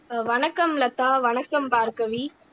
ஆஹ் வணக்கம் லதா வணக்கம் பார்கவி